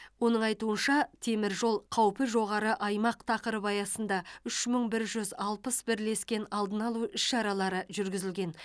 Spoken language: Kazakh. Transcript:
оның айтуынша темір жол қауіпі жоғары аймақ тақырыбы аясында үш мың бір жүз алпыс бірлескен алдын алу іс шаралары жүргізілген